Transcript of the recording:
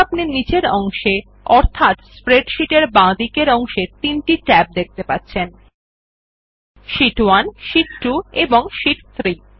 এখন আপনি নীচের অংশে অর্থাৎ স্প্রেডশীট বাঁদিকের অংশে তিনটি শীট ট্যাব দেখতে পাচ্ছেন শীট1 শীট 2 এবং শীট 3